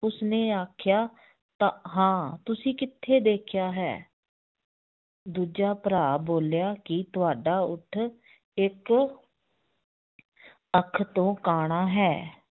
ਉਸਨੇ ਆਖਿਆ ਤਾਂ ਹਾਂ ਤੁਸੀ ਕਿੱਥੇ ਦੇਖਿਆ ਹੈ ਦੂਜਾ ਭਰਾ ਬੋਲਿਆ ਕਿ ਤੁਹਾਡਾ ਊਠ ਇੱਕ ਅੱਖ ਤੋਂ ਕਾਣਾ ਹੈ